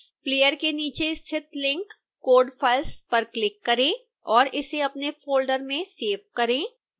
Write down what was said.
player के नीचे स्थित लिंक code files पर क्लिक करें और इसे अपने फोल्डर में सेव करें